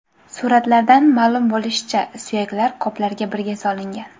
Suratlardan ma’lum bo‘lishicha, suyaklar qoplarga birga solingan.